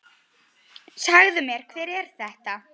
Segðu mér, hver er þetta?